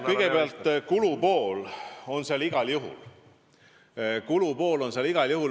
Kõigepealt, kulupool on seal igal juhul!